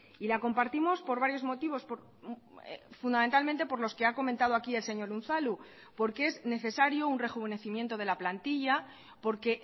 y la compartimos por varios motivos fundamentalmente por los que ha comentado aquí el señor unzalu porque es necesario un rejuvenecimiento de la plantilla porque